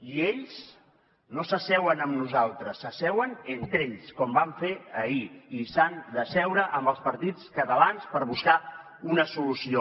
i ells no s’asseuen amb nosaltres s’asseuen entre ells com van fer ahir i s’han d’asseure amb els partits catalans per buscar una solució